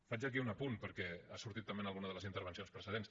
faig aquí un apunt perquè ha sortit també en alguna de les intervencions precedents